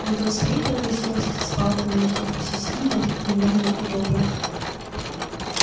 вот он стоит во весь рост с палкой в руке всесильный гневный и добрый